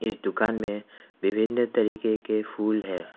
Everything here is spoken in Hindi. इस दुकान में विभिन्न तरीके के फूल है।